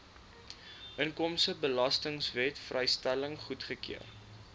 inkomstebelastingwet vrystelling goedgekeur